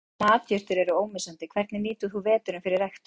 Matjurtir eru ómissandi Hvernig nýtir þú veturinn fyrir ræktun?